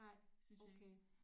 Nej okay